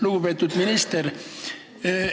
Lugupeetud minister!